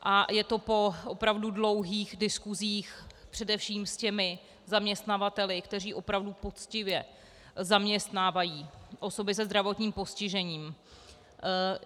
A je to po opravdu dlouhých diskuzích, především s těmi zaměstnavateli, kteří opravdu poctivě zaměstnávají osoby se zdravotním postižením.